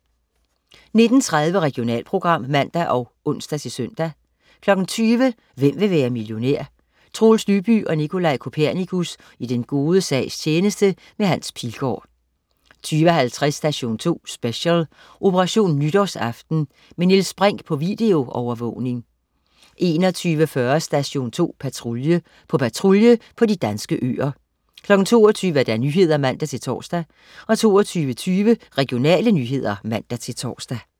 19.30 Regionalprogram (man og ons-søn) 20.00 Hvem vil være millionær? Troels Lyby og Nicolaj Kopernikus i den gode sags tjeneste. Hans Pilgaard 20.50 Station 2 Special: Operation nytårsaften. Med Niels Brinch på videoovervågning 21.40 Station 2 Patrulje. På patrulje på de danske øer 22.00 Nyhederne (man-tors) 22.20 Regionale nyheder (man-tors)